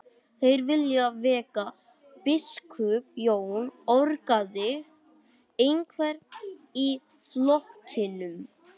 Þeir vilja vega biskup Jón, orgaði einhver í flokknum.